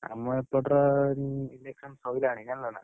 ଆମ ଏପଟର election ସଇଲାଣି ଜାଣିଲନା,